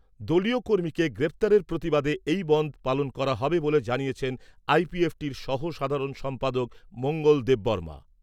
দলীয় কর্মীকে গ্রেফতারের প্রতিবাদে এই বনধ পালন করা হবে বলে জানিয়েছেন আইপিএফটির সহ সাধারণ সম্পাদক মঙ্গল দেববর্মা।